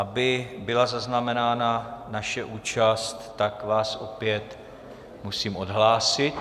Aby byla zaznamenána naše účast, tak vás opět musím odhlásit.